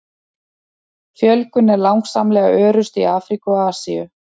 Fjölgun er langsamlega örust í Afríku og Asíu.